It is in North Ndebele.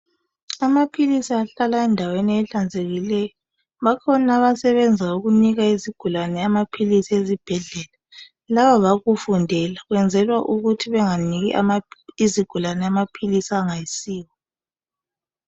Amaphilisi ahlala endaweni ezihlanzekileyo. Bakhona abasebenza ukunika izigulane amaphilisi ezibhedlela. Laba bakufundela, kwenzelwa ukuthi benganiki izigulane amaphilisi angayisiwo.